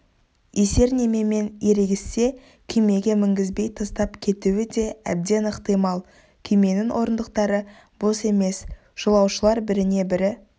есер немемен ерегіссе күймеге мінгізбей тастап кетуі де әбден ықтимал күйменің орындықтары бос емес жолаушылар біріне-бірі